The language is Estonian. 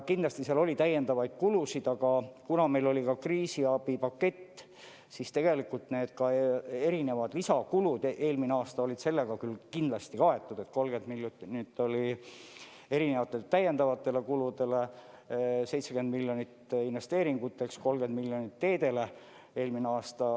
Kindlasti seal oli täiendavaid kulusid, aga kuna meil oli ka kriisiabipakett, siis ka need erinevad lisakulud eelmine aasta olid sellega küll kaetud, et 30 miljonit oli erinevateks täiendavateks kuludeks, 70 miljonit investeeringuteks, 30 miljonit teedele.